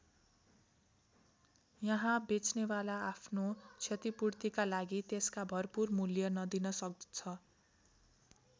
यहाँ बेच्नेवाला आफ्नो क्षतिपूर्तिका लागि त्यसका भरपूर मूल्य नदिन सक्छ।